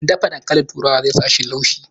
Dafa dankali turawan zai sa shi laushi